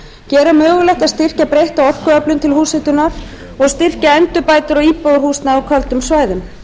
gera mögulegt að styrkja breytta orkuöflun til húshitunar og styrkja endurbætur á íbúðarhúsnæði á köldum svæðum